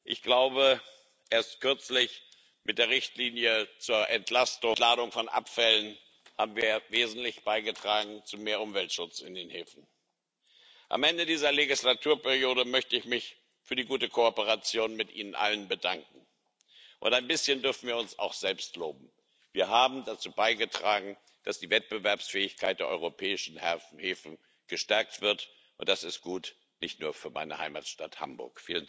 Ich glaube, erst kürzlich mit der Richtlinie zur Entladung von Abfällen haben wir wesentlich zu mehr Umweltschutz in den Häfen beigetragen. Am Ende dieser Legislaturperiode möchte ich mich für die gute Kooperation mit Ihnen allen bedanken. Und ein bisschen dürfen wir uns auch selbst loben Wir haben dazu beigetragen, dass die Wettbewerbsfähigkeit der europäischen Häfen gestärkt wird, und das ist gut nicht nur für meine Heimatstadt Hamburg.